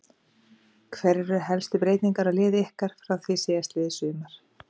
Hverjar eru helstu breytingar á liði ykkar frá því síðastliðið sumar?